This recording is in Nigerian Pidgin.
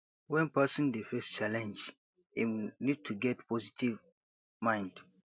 when person dey face challenge im need to get positive mind